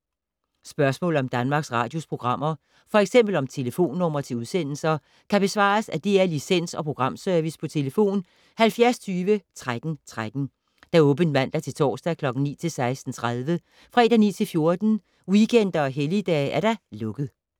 Spørgsmål om Danmarks Radios programmer, f.eks. om telefonnumre til udsendelser, kan besvares af DR Licens- og Programservice: tlf. 70 20 13 13, åbent mandag-torsdag 9.00-16.30, fredag 9.00-14.00, weekender og helligdage: lukket.